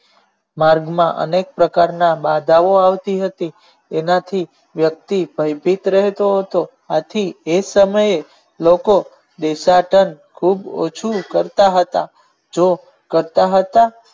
માર્ગ માં અનેક પ્રકાર ની બાધાઓ આવતી હતી એમાંથી વ્યકતિ વંચિત રહેતો હતો આથી એક સમયે લોકો દેશાંતન ખુબ ઓછી કરતા હતા જે કરતા હતા.